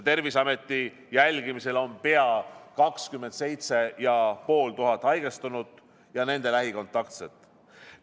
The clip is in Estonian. Terviseameti jälgimisel on pea 27 500 haigestunut ja nende lähikontaktset.